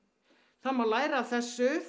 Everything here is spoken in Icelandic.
það má læra af þessu